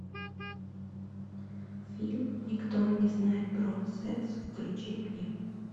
фильм никто не знает про секс включи мне